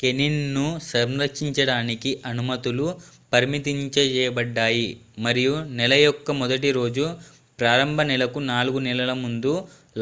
canine ను సంరక్షించడానికి అనుమతులు పరిమితంచేయబడ్డాయి మరియు నెల యొక్క మొదటి రోజు ప్రారంభ నెల కు నాలుగు నెలల ముందు